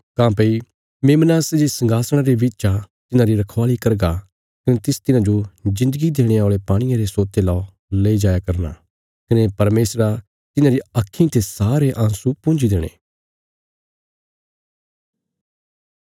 काँह्भई मेमना सै जे संघासणा रे बिच आ तिन्हांरी रखवाली करगा कने तिस तिन्हांजो जिन्दगी देणे औल़े पाणिये रे सोते ला लेई जाया करना कने परमेशरा तिन्हांरी आक्खीं ते सारे आँसू पुंजी देणे